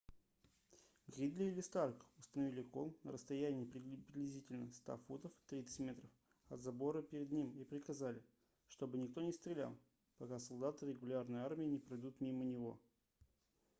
гридли или старк установили кол на расстоянии приблизительно 100 футов 30 м от забора перед ним и приказали чтобы никто не стрелял пока солдаты регулярной армии не пройдут мимо него